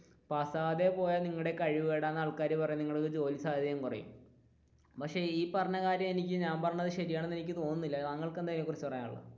പാസ്സാകാതെ പോയാൽ നിങ്ങളുടെ കഴിവ് കേടാണെന്നു ആൾക്കാർ പറയും നിങ്ങളുടെ ജോലി സാധ്യത കുറയും പക്ഷെ ഈ പറഞ്ഞ കാര്യം, ഞാൻ പറഞ്ഞത് ശരിയാണെന്ന് തോന്നുന്നില്ല താങ്കൾക്ക് എന്താണ് ഇതിനെ കുറിച്ച് പറയാനുള്ളത്?